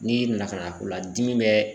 N'i na ka na ola ladimi bɛ